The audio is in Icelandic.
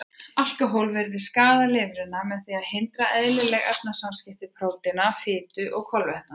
Alkóhól virðist skaða lifrina með því að hindra eðlileg efnaskipti prótína, fitu og kolvetna.